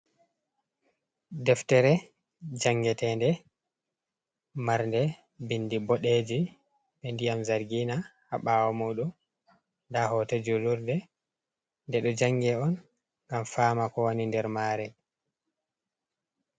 Deftere jangetende, marde bindi boɗeji be ndiyam zargina, ha ɓawo modum nda hote julurde de ɗo jange on ngam fama ko woni nder mare.